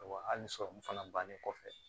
Wa hali sɔrɔmu fana bannen kɔfɛ